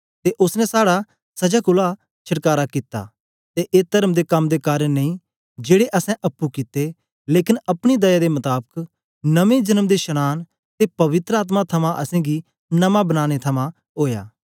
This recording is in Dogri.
ते ओसने साड़ा सजा कोलां छडकारा कित्ता ते ए तर्म दे कम दे कारन नेई जेड़े असैं अप्पुं कित्ते लेकन अपनी दया दे मताबक नमें जन्म दे शनांन ते पवित्र आत्मा थमां असेंगी नमां बनाने थमां ओया